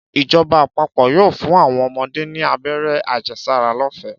Ìjoba àpapò yóò fún àwon omodé ní abéré àjesára lófèé